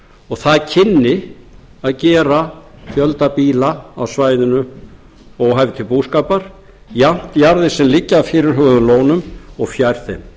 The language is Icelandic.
og það kynni að gera fjölda býla á svæðinu óhæf til búskapar jafnt jarðir sem liggja að fyrirhuguðum lónum og fjær þeim